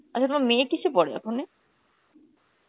আচ্ছা তোমার মেয়ে কিসে পড়ে এখনে?